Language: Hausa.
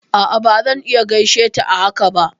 A'a bazan iya gaishe ta a haka ba